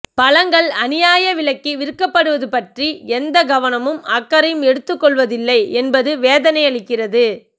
பழங்கள் அநியாயவிலைக்கு விற்கபடுவது பற்றி எந்தக் கவனமும் அக்கறையும் எடுத்துக் கொள்வதில்லை என்பது வேதனையளிக்கிறது